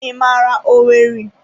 I mara owerri?